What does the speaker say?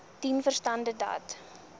dien verstande dat